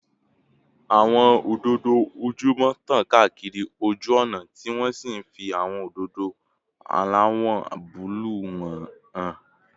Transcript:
Àwọn òdòdó ojúmọ́ tàn káàkiri ojú ọ̀nà, tí wọ́n sì ń fi àwọn òdòdó aláwọ̀ búlúù wọn hàn